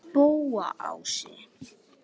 Spóaási